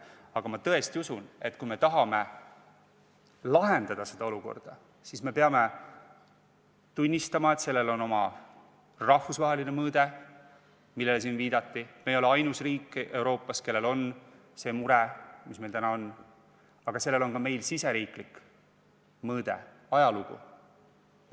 Aga ma tõesti usun, et kui me tahame lahendada seda olukorda, siis me peame tunnistama, et sellel on oma rahvusvaheline mõõde, millele siin viidati – me ei ole ainus riik Euroopas, kellel on see mure, mis meil on –, aga sellel on ka riigisisene mõõde, ajalugu.